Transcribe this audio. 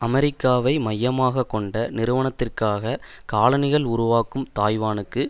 அமெரிக்காவை மையமாக கொண்ட நிறுவனத்திற்காக காலணிகள் உருவாக்கும் தாய்வானுக்கு